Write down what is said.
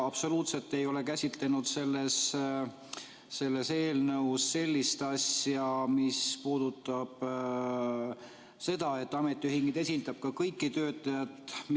Absoluutselt ei ole selles eelnõus käsitletud sellist asja, et ametiühing esindab kõiki töötajaid.